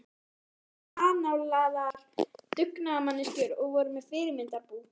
Systurnar voru annálaðar dugnaðarmanneskjur og voru með fyrirmyndarbú.